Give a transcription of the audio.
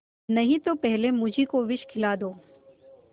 नहीं तो पहले मुझी को विष खिला दो